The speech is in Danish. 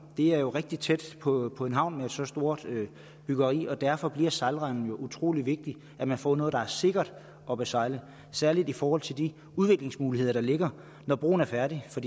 det er jo rigtig tæt på på en havn med så stort et byggeri derfor bliver sejlrenden utrolig vigtig at man får noget der er sikkert at besejle særlig i forhold til de udviklingsmuligheder der ligger når broen er færdig for